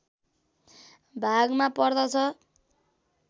भागमा पर्दछ